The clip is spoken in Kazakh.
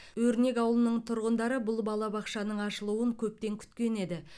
өрнек ауылының тұрғындары бұл балабақшаның ашылуын көптен күткен еді